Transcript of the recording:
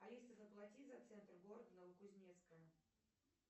алиса заплати за центр города новокузнецка